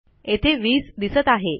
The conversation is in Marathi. येथे 20 दिसत आहे